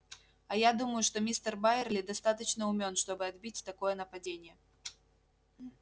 а я думаю что мистер байерли достаточно умён чтобы отбить такое нападение